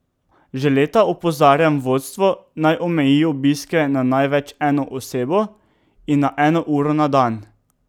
Že leta opozarjam vodstvo, naj omeji obiske na največ eno osebo in na eno uro na dan.